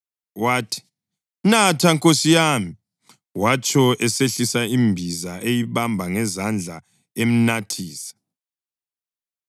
Wathi, “Natha nkosi yami,” watsho esehlisa imbiza eyibamba ngezandla emnathisa.